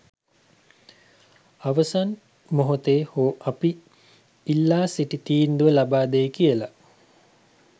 අවසන් මොහොතේ හෝ අපි ඉල්ලාසිටි තීන්දුව ලබාදෙයි කියලා.